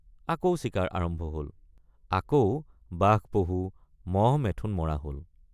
আকৌ চিকাৰ আৰম্ভ হল আকৌ বাঘপহু মহমেঠোন মৰা হল।